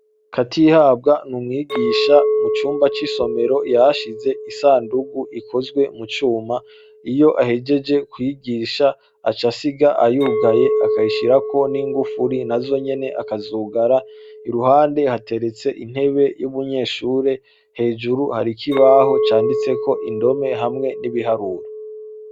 Katihabwa ni umwigisha mu cumba c'isomero yahashize isandugu ikozwe mu cuma, iyo ahejeje kwigisha aca asiga ayugaye akayishirako n'ingufuri nazo nyene akazugara, iruhande hateretse intebe y'umunyeshure, hejuru hari ikibaho canditseko indome hamwe n'ibiharuro.